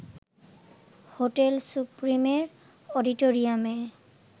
hotel সুপ্রিমের অডিটোরিয়ামে